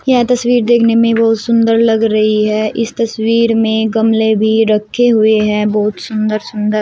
यह तस्वीर देखने में बहुत सुंदर लग रही है इस तस्वीर में गमले भी रखे हुए हैं बहुत सुंदर सुंदर।